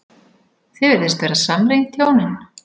Þið virðist vera samrýnd, hjónin.